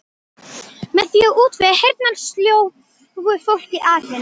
Með því að útvega heyrnarsljóu fólki atvinnu.